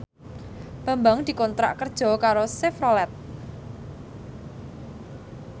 Bambang dikontrak kerja karo Chevrolet